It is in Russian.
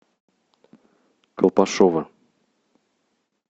колпашево